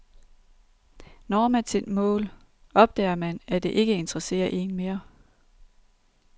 Når man sit mål, opdager man, at det ikke interesserer en mere.